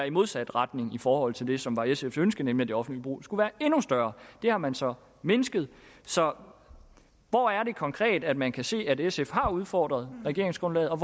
i modsat retning i forhold til det som var sfs ønske nemlig at det offentlige forbrug skulle være endnu større det har man så mindsket så hvor er det konkret at man kan se at sf har udfordret regeringsgrundlaget og